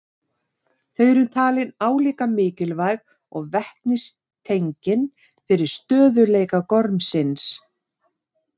Þau eru talin álíka mikilvæg og vetnistengin fyrir stöðugleika gormsins.